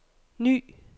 ny